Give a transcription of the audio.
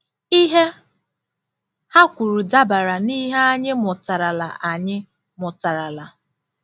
Ihe ha kwuru dabara n'ihe anyị mụtarala anyị mụtarala.